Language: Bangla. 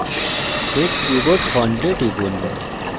set keyboard font এ টিপুন